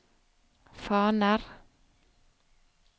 faner